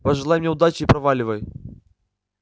пожелай мне удачи и проваливай